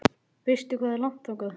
Veistu hvað er langt þangað?